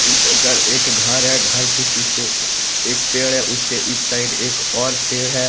एक घर है घर के पीछे एक पेड़ है उसके इस साइड एक और पेड़ है।